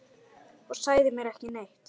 Og sagðir mér ekki neitt!